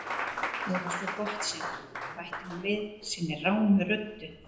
. eða svo gott sem, bætti hún við sinni rámu röddu.